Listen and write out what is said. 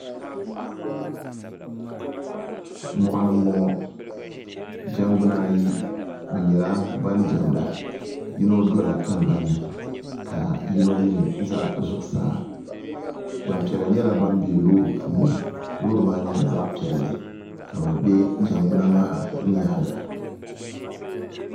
moɣani n boŋo jɛngbuna ayi bi nyɛla ban diɛmda yino dola tingbanni ka yino mii ʒɛ zuɣusaa Gbanpiɛla nyɛla ban bɛ loori puuni loori maa nyɛla zaɣ piɛlli ka bi bɛ jɛngbuna maa nyaanga